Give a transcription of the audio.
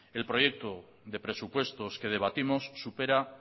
el proyecto de presupuestos que debatimos supera